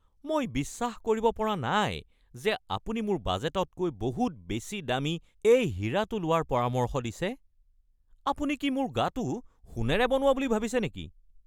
মই বিশ্বাস কৰিব পৰা নাই যে আপুনি মোৰ বাজেটতকৈ বহুত বেছি দামী এই হীৰাটো লোৱাৰ পৰামৰ্শ দিছে! আপুনি কি মোৰ গাটো সোণেৰে বনোৱা বুলি ভাবিছে নেকি?